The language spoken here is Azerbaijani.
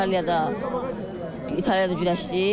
İtaliyada İtaliyada güləşdik.